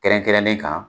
Kɛrɛnkɛrɛnnen kan